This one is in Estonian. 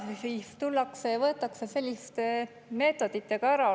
Ja siis tullakse ja võetakse see selliste meetoditega ära.